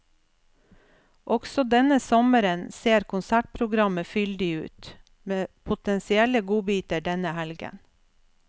Også denne sommeren ser konsertprogrammet fyldig ut, med potensielle godbiter denne helgen.